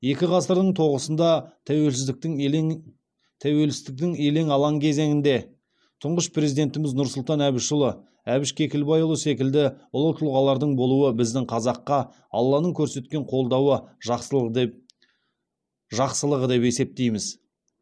екі ғасырдың тоғысында тәуелсіздіктің елең тәуелсіздіктің елең алаң кезеңінде тұңғыш президентіміз нұрсұлтан әбішұлы әбіш кекілбайұлы секілді ұлы тұлғалардың болуы біздің қазаққа алланың көрсеткен қолдауы жақсылығы деп жақсылығы деп есептейміз